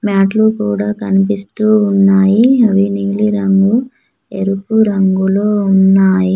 మ్యాట్లు కూడా కనిపిస్తూ ఉన్నాయి అవి నీలి రంగు ఎరుపు రంగులో ఉన్నాయి.